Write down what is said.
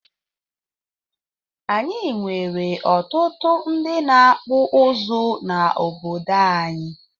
Anyị nwere ọtụtụ ndị na akpụ ụzụ na obodo anyị